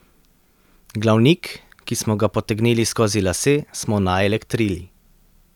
Glavnik, ki smo ga potegnili skozi lase, smo naelektrili.